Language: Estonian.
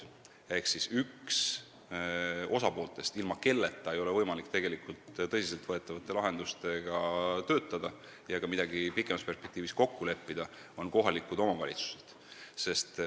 Ehk üks osapooltest, ilma kelleta ei ole võimalik tegelikult tõsiselt võetavaid lahendusi leida ega ka midagi pikemas perspektiivis kokku leppida, on kohalikud omavalitsused.